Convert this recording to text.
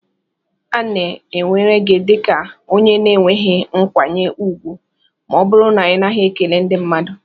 A na-ewere gị dị ka onye na-enweghị nkwanye ùgwù ma ọ bụrụ na ị naghị ekele ndi mmadu.